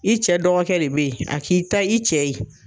I cɛ dɔgɔkɛ le bɛ ye a k'i ta i cɛ ye.